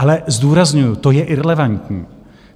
Ale zdůrazňuju, to je irelevantní.